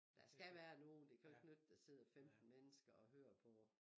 Der skal være nogen det kan jo ikke nytte der sidder femten mennesker og hører på